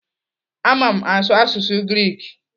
Ama m asụ asụsụ Greek.